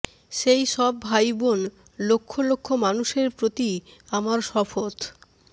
সেই সব ভাই বোন লক্ষ লক্ষ মানুষের প্রতি আমার শপথ